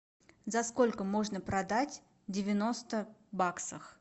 за сколько можно продать девяносто баксах